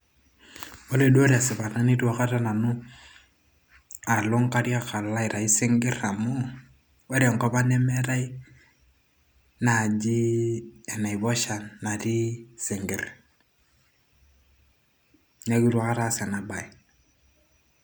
ore duo tesipata nitu aikata nanu alo nkariak alo aitayu isinkirr amu ore enkop ang nemeetay naaji enaiposha natii isinkirr neeku itu aikata aas ena baye.